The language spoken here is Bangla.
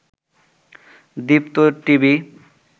দীপ্ত টিভি